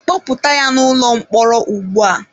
Kpọpụta ya n'ụlọ mkpọrọ ugbu a!